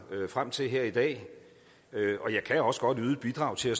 frem til her i dag og jeg kan også godt yde et bidrag til at